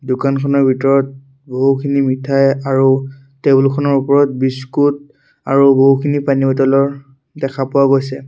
দোকানখনৰ ভিতৰত বহুখিনি মিঠাই আৰু টেবুল খনৰ ওপৰত বিস্কুট আৰু বহুখিনি পানী বটলৰ দেখা পোৱা গৈছে।